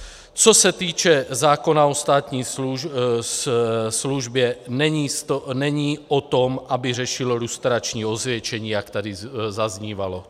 Co se týče zákona o státní službě, není o tom, aby řešil lustrační osvědčení, jak tady zaznívalo.